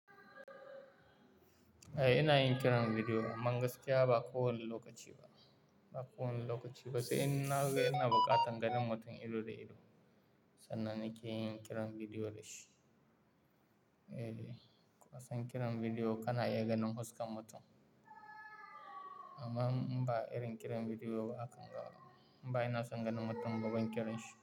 Eh ina yin kiran bidiyo amma gaskiya ba kowane lokaci ba, ba kowane lokaci ba. Sai in na ga yana buƙatar ganin mutum ido da ido sannan nake yin kiran bidiyo da shi. Eh, ko a san kiran bidiyo kana iya ganin fuskar mutum amma in ba irin kiran bidiyo ba aka gama, in ba ina son ganin mutum ba ban kiranshi ba.